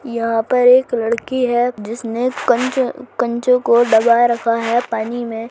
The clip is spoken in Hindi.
यहां पर एक लड़की है जिस ने कंचो को डूबा रखा है पानी में--